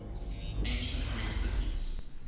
ancient greek cities